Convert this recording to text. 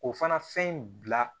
O fana fɛn in bila